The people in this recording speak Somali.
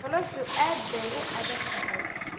Noloshu aad bay u adag tahay.